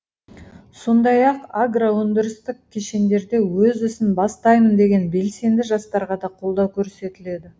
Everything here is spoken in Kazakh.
сондай ақ агро өндірістік кешендерде өз ісін бастаймын деген белсенді жастарға да қолдау көрсетіледі